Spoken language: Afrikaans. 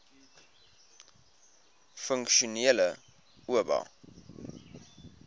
funksionele oba